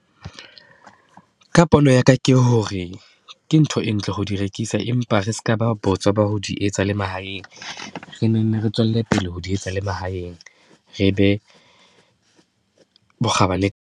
Ka pono ya ka ke hore, ke ntho e ntle ho di rekisa, empa re seka ba botswa ba ho di etsa le mahaeng, re nenne re tswelle pele ho di etsa le mahaeng, re be bokgabane.